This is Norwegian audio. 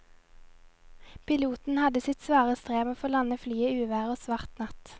Piloten hadde sitt svare strev med å få landet flyet i uvær og svart natt.